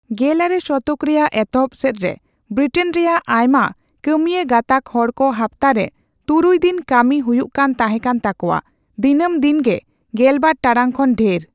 ᱜᱮᱞᱟᱨᱮ ᱥᱚᱛᱚᱠ ᱨᱮᱭᱟᱜ ᱮᱛᱚᱦᱚᱵ ᱥᱮᱫᱨᱮ, ᱵᱨᱤᱴᱮᱱ ᱨᱮᱭᱟᱜ ᱟᱭᱢᱟ ᱠᱟᱹᱢᱭᱟᱹ ᱜᱟᱸᱛᱟᱠ ᱦᱚᱲᱠᱚ ᱦᱟᱯᱛᱟ ᱨᱮ ᱛᱩᱨᱩᱭ ᱫᱤᱱ ᱠᱟᱹᱢᱤ ᱦᱩᱭᱩᱜ ᱠᱟᱱ ᱛᱟᱦᱮᱸᱠᱟᱱ ᱛᱟᱠᱚᱣᱟ, ᱫᱤᱱᱟᱹᱢ ᱫᱤᱱ ᱜᱮ ᱜᱮᱞᱵᱟᱨ ᱴᱟᱲᱟᱝ ᱠᱷᱚᱱ ᱰᱷᱮᱨ ᱾